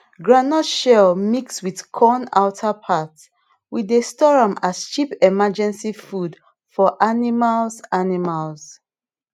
groundnut shell mix with corn outer part we dey store am as cheap emergency food for animals animals